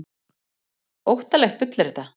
Óttalegt bull er þetta!